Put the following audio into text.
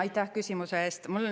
Aitäh küsimuse eest!